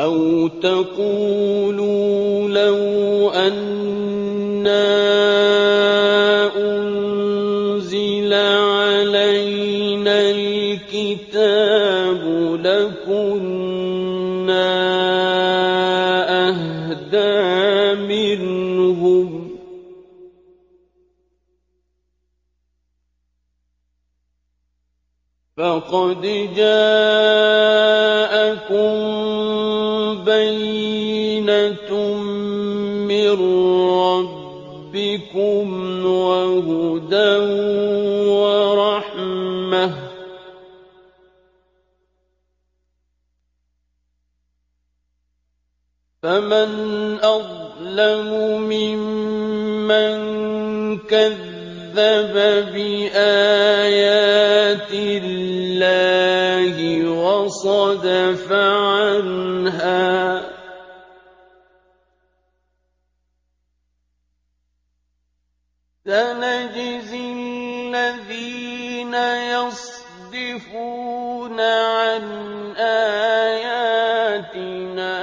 أَوْ تَقُولُوا لَوْ أَنَّا أُنزِلَ عَلَيْنَا الْكِتَابُ لَكُنَّا أَهْدَىٰ مِنْهُمْ ۚ فَقَدْ جَاءَكُم بَيِّنَةٌ مِّن رَّبِّكُمْ وَهُدًى وَرَحْمَةٌ ۚ فَمَنْ أَظْلَمُ مِمَّن كَذَّبَ بِآيَاتِ اللَّهِ وَصَدَفَ عَنْهَا ۗ سَنَجْزِي الَّذِينَ يَصْدِفُونَ عَنْ آيَاتِنَا